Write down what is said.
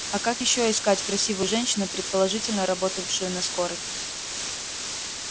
а как ещё искать красивую женщину предположительно работавшую на скорой